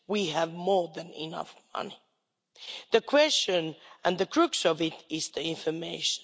We have more than enough money. The question and the crux of it is the information.